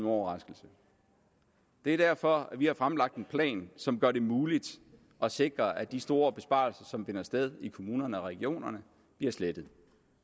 overraskelse det er derfor vi har fremlagt en plan som gør det muligt at sikre at de store besparelser som finder sted i kommunerne og regionerne bliver slettet